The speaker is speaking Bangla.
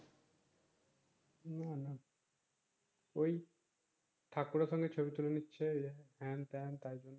না ঐ ঠাকুর আছে ছবি তুলে নিচ্ছে হেনতেন তাই জন্য